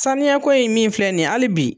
Sanuyako ye min filɛ nin ye hali bi